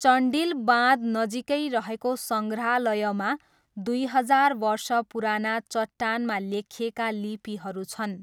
चन्डिल बाँध नजिकै रहेको सङ्ग्रहालयमा दुई हजार वर्ष पुराना चट्टानमा लेखिएका लिपिहरू छन्।